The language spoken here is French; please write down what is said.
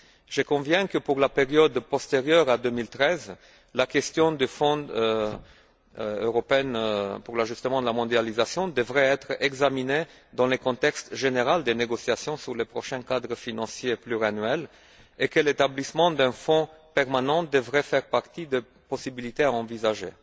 Je conviens que, pour la période postérieure à 2013, la question du Fonds européen d'ajustement à la mondialisation devrait être examiné dans le contexte général des négociations sur le prochain cadre financier et pluriannuel et que l'établissement d'un fonds permanent devrait faire partie des possibilités à envisager.